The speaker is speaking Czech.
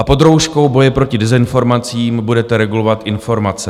A pod rouškou boje proti dezinformacím budete regulovat informace.